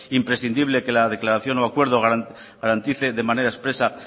imprescindible que la declaración o acuerdo garantice de manera expresa